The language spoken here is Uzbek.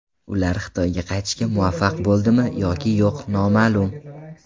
Ular Xitoyga qaytishga muvaffaq bo‘ldimi yoki yo‘q noma’lum.